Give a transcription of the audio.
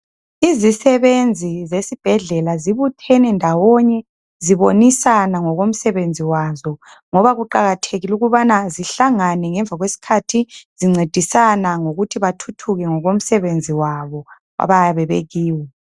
Izisebenzi zesibhedlela zibuthene ndawonye. Zibonisa ngokomsebenzi wazo ngoba kuqakathekile ukubana zihlangane ngemva kwesikhathi zincedisana ngokuthi bathuthuke ngokomsebenzi wabo abayabe bekiwo.